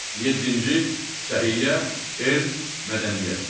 Yeddinci səhiyyə, elm, mədəniyyət.